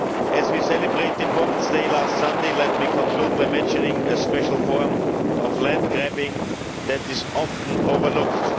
As we celebrated Women's Day last Sunday, let me conclude by mentioning a special form of land grabbing that is often overlooked.